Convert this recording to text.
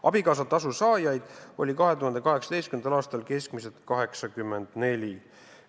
Abikaasatasu saajaid oli 2018. aastal keskmiselt 84.